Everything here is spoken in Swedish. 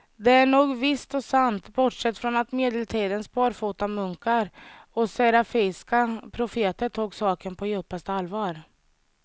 Det är nog visst och sant, bortsett från att medeltidens barfotamunkar och serafiska profeter tog saken på djupaste allvar.